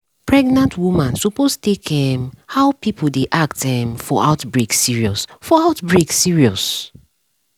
pregnant woman suppose take um how people dey act um for outbreak serious. for outbreak serious.